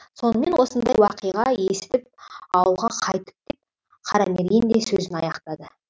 сонымен осындай уақиға есітіп ауылға қайттым деп қарамерген де сөзін аяқтады